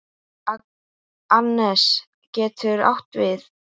Annes getur átt við